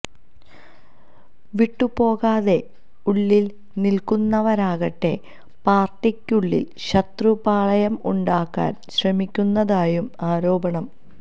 വിട്ടുപോകാതെ ഉള്ളില് നില്ക്കുന്നവരാകട്ടെ പാര്ട്ടിക്കുള്ളില് ശത്രുപാളയം ഉണ്ടാക്കാന് ശ്രമിക്കുന്നതായും ആരോപണം